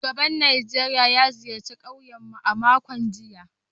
Shugaban Najeriya ya ziyarci kauyen mu a makon jiya